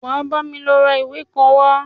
Wà á bámi lọ ra ìwé kan wá!